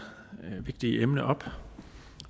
vigtige emne op